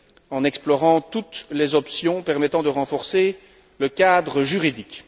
en explorant toutes les options permettant de renforcer le cadre juridique.